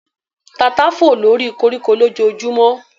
Tata fò lóri koríko lójojúmọ́